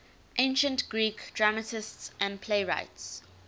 ancient greek dramatists and playwrights